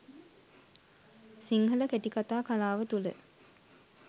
සිංහල කෙටිකතා කලාව තුළ